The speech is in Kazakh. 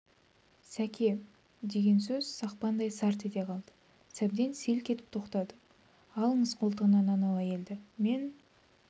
сәке деген сөз сақпандай сарт ете қалды сәбден селк етіп тоқтады алыңыз қолтығынан анау әйелді мен